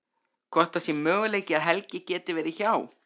Hvort það sé möguleiki að Helgi geti verið hjá.